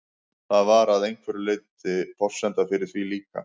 Það var að einhverju leyti forsenda fyrir því líka.